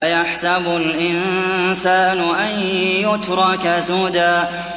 أَيَحْسَبُ الْإِنسَانُ أَن يُتْرَكَ سُدًى